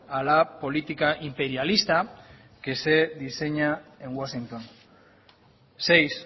a la política imperialista que se diseña en washington seis